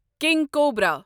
king cobra